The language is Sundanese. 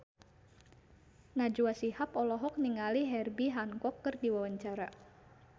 Najwa Shihab olohok ningali Herbie Hancock keur diwawancara